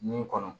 Nun kɔnɔ